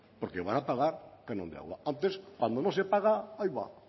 porque van a pagar canon de agua antes cuando no se paga aiba